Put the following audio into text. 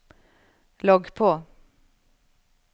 logg på